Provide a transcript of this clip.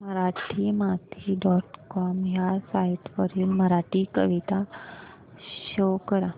Marathimati dot com ह्या site वरील मराठी कविता शो कर